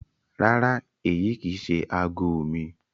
Rárá, èyi kí í ṣẹ̀ àágọ̀ mi.